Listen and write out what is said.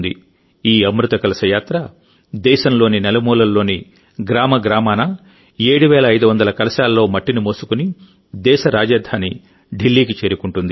ఈ అమృత కలశ యాత్ర దేశంలోని నలుమూలల్లోని గ్రామ గ్రామాన 7500 కలశాల్లో మట్టిని మోసుకుని దేశ రాజధాని ఢిల్లీకి చేరుకుంటుంది